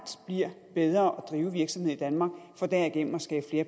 bliver bedre at drive virksomhed i danmark for derigennem at skabe